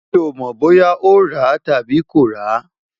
mi ò mọ̀ bóyá ó ràá tàbí kò ràá